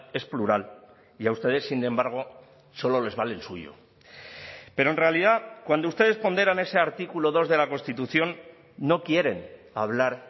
es plural y a ustedes sin embargo solo les vale el suyo pero en realidad cuando ustedes ponderan ese artículo dos de la constitución no quieren hablar